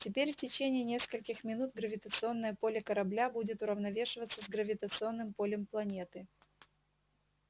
теперь в течение нескольких минут гравитационное поле корабля будет уравновешиваться с гравитационным полем планеты